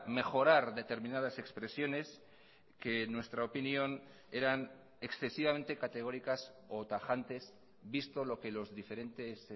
mejorar determinadas expresiones que en nuestra opinión eran excesivamente categóricas o tajantes visto lo que los diferentes